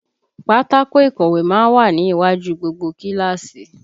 Pátákó ìkọ̀wé má ń wà ní iwájú gbogbo kíláàsì